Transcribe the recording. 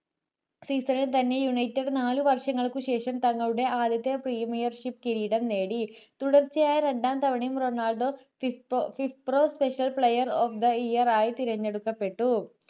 season ൽ തന്നെ united നാലു വർഷങ്ങൾ ശേഷം തങ്ങളുടെ ആദ്യത്തെ premiership കിരീടം നേടി